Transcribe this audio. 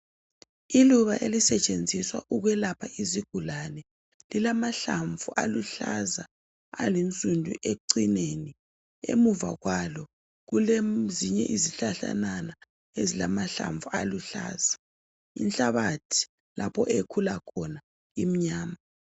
Iluba ezisetshenziswa ukwelapha izigulane. Lilamahlamvu aluhlaza alifindo ekucineni, emuva kwalo kulezinye izihlahlanyana ezilamahlamvu aluhlaza. Inhlabathi lapho elikhula khona imnyama